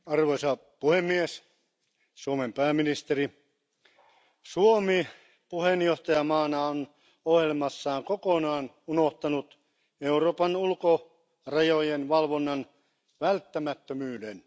Arvoisa puhemies, Suomen pääministeri, Suomi puheenjohtajamaana on ohjelmassaan kokonaan unohtanut Euroopan ulkorajojen valvonnan välttämättömyyden.